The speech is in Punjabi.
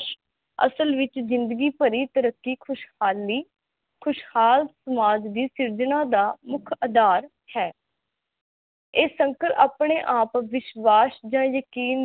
ਅਸਲ ਵਿਚ ਜਿੰਦਗੀ ਭਰੀ ਤਰੱਕੀ ਖੁਸ਼ਹਾਲੀ ਖੁਸ਼ਹਾਲ ਸਮਾਜ ਦੀ ਸਿਰਜਨਾ ਦਾ ਮੁਖ ਅਧਾਰ ਹੈ ਇਹ ਸੰਕਲਪ ਆਪਣੇ ਆਪ ਵਿਸ਼ਵਾਸ ਜਾਂ ਯਕੀਨ ਦੀ